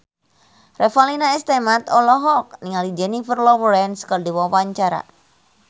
Revalina S. Temat olohok ningali Jennifer Lawrence keur diwawancara